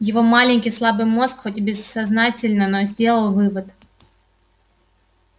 его маленький слабый мозг хоть и бессознательно но сделал вывод